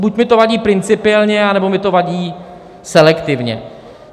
Buď mi to vadí principiálně, anebo mi to vadí selektivně.